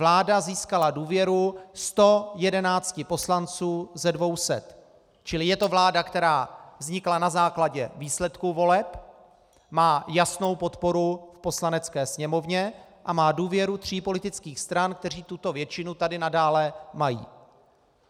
Vláda získala důvěru 111 poslanců ze 200, čili je to vláda, která vznikla na základě výsledků voleb, má jasnou podporu v Poslanecké sněmovně a má důvěru tří politických stran, které tuto většinu tady nadále mají.